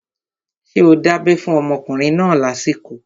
Ṣé o dábẹ́ fún ọmọkùnrin náà lásìkò?